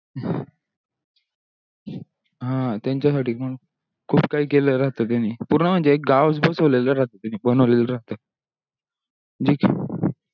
हा त्यांचासाठी पण खूप काही केलेल्या राहतो त्यांनी पूर्ण म्हणजे एक गावच बसवलेला बनवलेला राहतो